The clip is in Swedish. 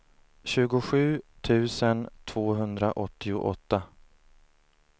tjugosju tusen tvåhundraåttioåtta